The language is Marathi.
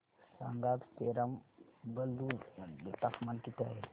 सांगा आज पेराम्बलुर मध्ये तापमान किती आहे